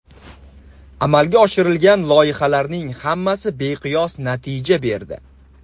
Amalga oshirilgan loyihalarning hammasi beqiyos natija berdi.